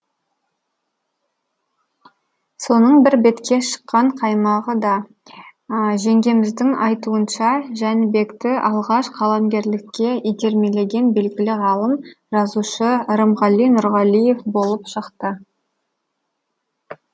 соның бір бетке шыққан қаймағы да жеңгеміздің айтуынша жәнібекті алғаш қаламгерлікке итермелеген белгілі ғалым жазушы рымғали нұрғалиев болып шықты